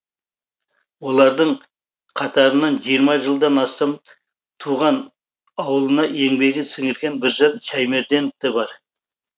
олардың қатарынан жиырма жылдан астам туған ауылына еңбегін сіңірген біржан шәймерденов те бар